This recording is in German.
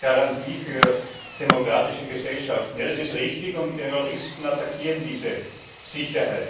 Garantie für demokratische Gesellschaften das ist richtig, und Terroristen attackieren diese Sicherheit.